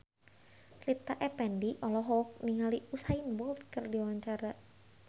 Rita Effendy olohok ningali Usain Bolt keur diwawancara